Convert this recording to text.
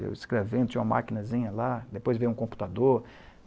Eu escrevendo, tinha uma maquinazinha lá, depois veio um computador.